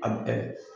A bɛɛ